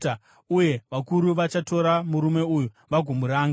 uye vakuru vachatora murume uyu vagomuranga.